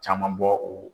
Caman bɔ u